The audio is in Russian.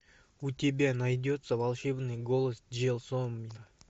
у тебя найдется волшебный голос джельсомино